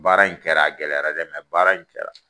Baara in kɛra a gɛlɛyara dɛ baara in kɛra.